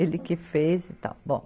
Ele que fez e tal, bom.